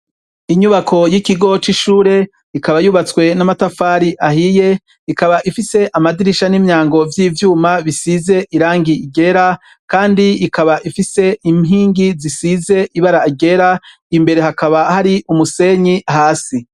inyubako y' ikigo c' ishur' ikaba yubatswe n' amatafar' ahiye, ikab' ifis' amadirisha n' imyango vy' ivyuma bisizer' irangi ritukura kand' ikab' ifis'inkingi zisiz' ibara ryera, imbere hakaba har'umusenyi hasi.